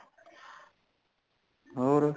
ਹੋਰ